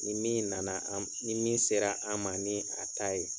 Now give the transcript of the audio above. Ni min na na an ni min sera an ma ni a ta ye.